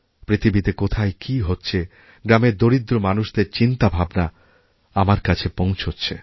পৃথিবীতে কোথায় কী হচ্ছে গ্রামের দরিদ্র মানুষদের চিন্তাভাবনাআমার কাছে পৌঁছচ্ছে